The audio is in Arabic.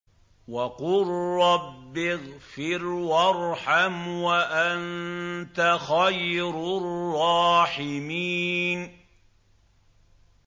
وَقُل رَّبِّ اغْفِرْ وَارْحَمْ وَأَنتَ خَيْرُ الرَّاحِمِينَ